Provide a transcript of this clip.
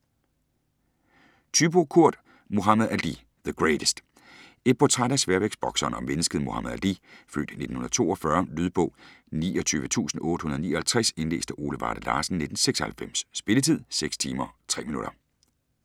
Thyboe, Kurt: Muhammad Ali - "The greatest" Et portræt af sværvægtsbokseren og mennesket Muhammad Ali (f. 1942). Lydbog 29859 Indlæst af Ole Varde Lassen, 1996. Spilletid: 6 timer, 3 minutter.